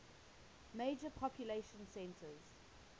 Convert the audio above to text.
major population centers